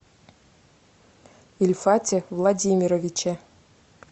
ильфате владимировиче